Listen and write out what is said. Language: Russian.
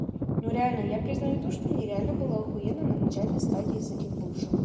ну реально я признаю то что мне реально было ахуенно на начальной стадии с этим бывшим